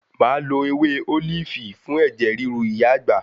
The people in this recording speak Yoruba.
Máa lọ ewé ólífì fún ẹ̀jẹ̀ ríru ìyá àgbà.